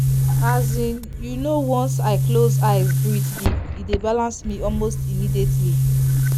as in you know once i close eyes breathe deep e dey balance me almost immediately.